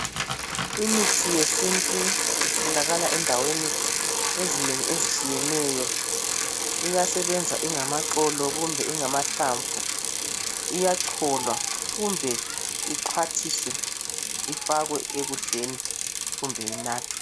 Imithi yesintu itholakala endaweni ezinengi ezitshiyeneyo, iyasebenza ingamaxolo kumbe ingamahlamvu, iyacholwa kumbe ixhwathiswe ifakwe ekudleni kumbe inathwe.